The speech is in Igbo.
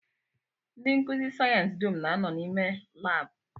Ndị nkụzi sayensị dum na-anọ n'ime laabụ